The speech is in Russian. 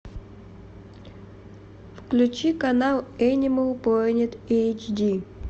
включи канал энимал плэнет эйч ди